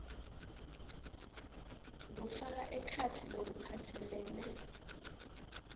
kufaka ekhatsi lokuphatselene